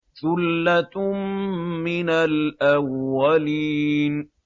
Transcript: ثُلَّةٌ مِّنَ الْأَوَّلِينَ